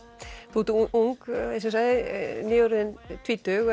þú ert ung eins og ég sagði nýorðin tvítug